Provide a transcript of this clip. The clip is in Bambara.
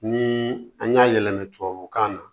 Ni an y'a yɛlɛma tubabukan na